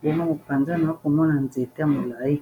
mpona kopanza na komona nzete ya molai.